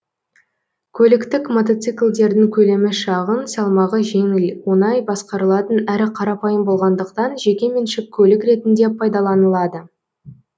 көліктік мотоциклдердің көлемі шағын салмағы жеңіл оңай басқарылатын әрі қарапайым болғандықтан жеке меншік көлік ретінде пайдаланылады